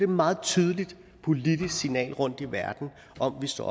meget tydeligt politisk signal rundt i verden om at vi står